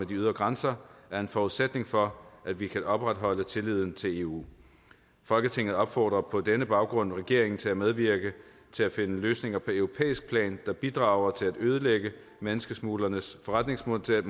de ydre grænser er en forudsætning for at vi kan opretholde tilliden til eu folketinget opfordrer på denne baggrund regeringen til at medvirke til at finde løsninger på europæisk plan der bidrager til at ødelægge menneskesmuglernes forretningsmodel